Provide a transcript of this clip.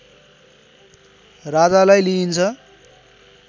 राजालाई लिइन्छ